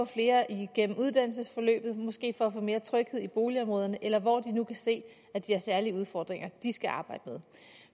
flere igennem uddannelsessystemet måske for at få mere tryghed i boligområderne eller hvor de nu kan se at de har særlige udfordringer de skal arbejde med